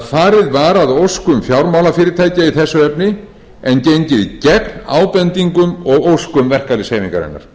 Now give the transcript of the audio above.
var að óskum fjármálafyrirtækja í þessu efni en gengið gegn ábendingum og óskum verkalýðshreyfingarinnar